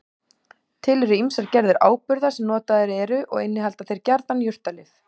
Til eru ýmsar gerðir áburða sem notaðir eru og innihalda þeir gjarnan jurtalyf.